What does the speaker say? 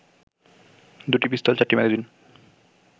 দুটিপিস্তুল, চারটি ম্যাগাজিন